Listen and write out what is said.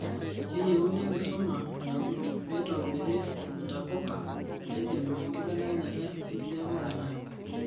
keyieni enkisuma naagut peitobiri entapuka naidimu enkibelekenyai enkijape oloingangi